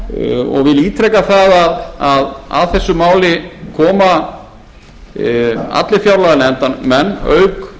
vil ítreka það að að þessu máli koma allir fjárlaganefndarmenn auk